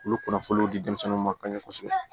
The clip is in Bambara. Olu kunnafoniw di denmisɛnninw ma ka ɲɛ kosɛbɛ